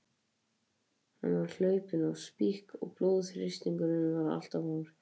Hann var hlaupinn í spik og blóðþrýstingurinn var allt of hár.